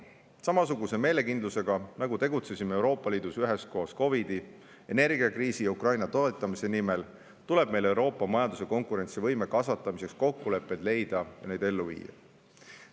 Samasuguse meelekindlusega, nagu tegutsesime Euroopa Liidus üheskoos COVID-i ajal, energiakriisis ja Ukraina toetamise nimel, tuleb meil Euroopa majanduse konkurentsivõime kasvatamiseks kokkulepped leida ja need ellu viia.